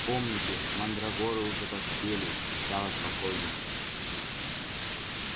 помните мандрагоры уже поспели и стало спокойнее